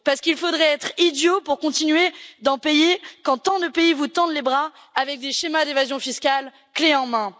Parce qu'il faudrait être idiot pour continuer d'en payer quand tant de pays vous tendent les bras avec des schémas d'évasion fiscale clé en main.